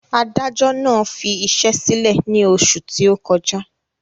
Adájọ́ náà fi iṣẹ́ sílẹ̀ ní oṣù tí ó kọjá